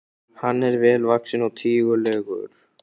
Hann var vel vaxinn og tígulegur.